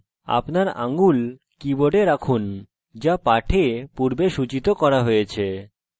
আপনার আঙ্গুল keyboard রাখুন যা পাঠে পূর্বে সুচিত করা হয়েছে